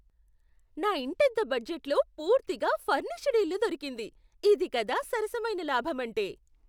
నా ఇంటద్దె బడ్జెట్లో పూర్తిగా ఫర్నిష్డ్ ఇల్లు దొరకింది! ఇది కదా సరసమైన లాభమంటే.